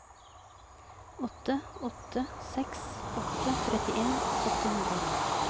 åtte åtte seks åtte trettien åtte hundre og ni